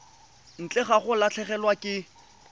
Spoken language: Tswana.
ntle ga go latlhegelwa ke